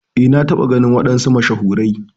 Eh na taba ganin wadansu mashahurai.